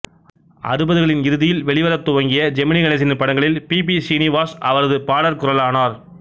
அறுபதுகளின் இறுதியில் வெளிவரத்துவங்கிய ஜெமினி கணேசனின் படங்களில் பி பி ஸ்ரீனிவாஸ் அவரது பாடற்குரலானார்